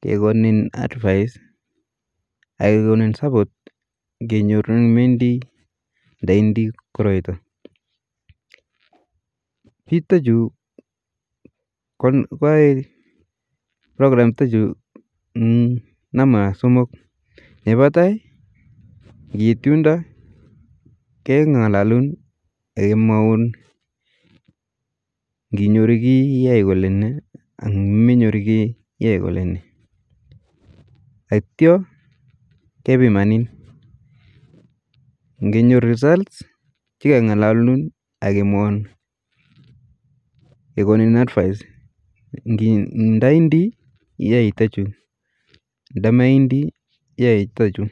,kekonin advice ak kekonin support kenyorun indii nda meidnii koroito, pich chutayu koae prokram chutachu nampa somok, nepa tai ,kiit yundo kengalalun ak kemwaun kinyoru kii iai kole nee nda menyuru kii iai kole nee , atyo kepimani, kenyoru result chikeng'alalun ak kemwaun, kekonin advice ndaindii iai chtachu nda maindii ia chtachu